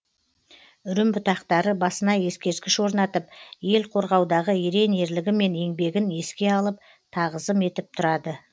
үрім бұтақтары басына ескерткіш орнатып ел қорғаудағы ерен ерлігі мен еңбегін еске алып тағызым етіп тұрады